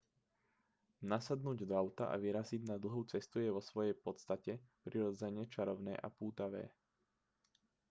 nasadnúť do auta a vyraziť na dlhú cestu je vo svojej podstate prirodzene čarovné a pútavé